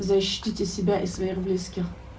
защитите себя и своих близких